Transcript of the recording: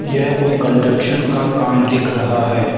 यह कोई कंस्ट्रक्शन का काम दिख रहा है।